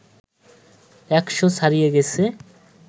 ১০০ ছাড়িয়ে গেছে